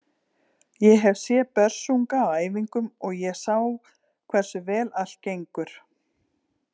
Ég hef séð Börsunga á æfingum og ég sá hversu vel allt gengur.